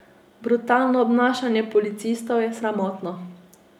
Brutalno obnašanje policistov je sramotno.